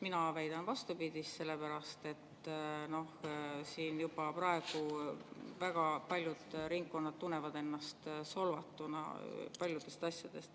Mina väidan vastupidist, sest juba praegu väga paljud ringkonnad tunnevad ennast paljude asjade tõttu solvatuna.